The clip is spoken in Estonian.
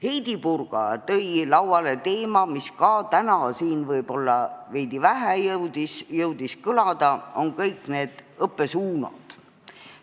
Heidy Purga tõi lauale teema, mis täna siin võib-olla veidi jõudis kõlada: õppesuunad.